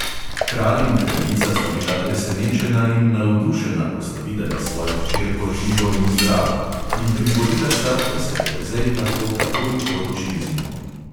Kralj in kraljica sta bila presenečena in navdušena, ko sta videla svojo hčerko živo in zdravo, in privolila sta, da se perzej lahko takoj poroči z njo.